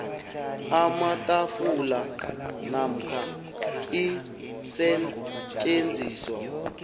amatafula namkha iinsetjenziswa